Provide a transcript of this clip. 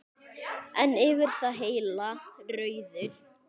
En yfir það heila: Rauður.